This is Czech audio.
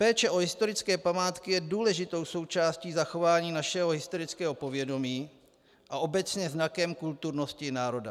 Péče o historické památky je důležitou součástí zachování našeho historického povědomí a obecně znakem kulturnosti národa.